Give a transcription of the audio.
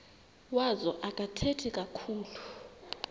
wazo akathethi kakhulu